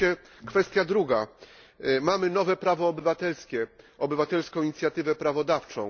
I wreszcie kwestia druga mamy nowe prawo obywatelskie, obywatelską inicjatywę prawodawczą.